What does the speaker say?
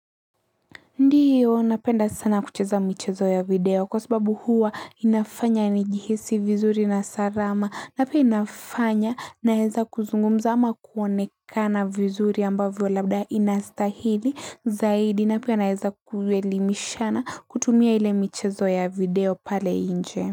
Ndiyo, napenda sana kucheza michezo ya video, kwa sababu huwa inafanya nijihisi vizuri na salama, na pia inafanya naeza kuzungumza ama kuonekana vizuri ambavyo labda inastahili, zaidi, na pia naeza kuelimishana kutumia ile michezo ya video pale inje.